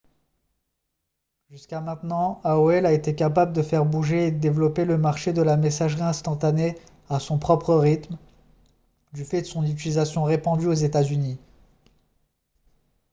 jusqu'à maintenant aol a été capable de faire bouger et de développer le marché de la messagerie instantanée à son propre rythme du fait de son utilisation répandue aux états-unis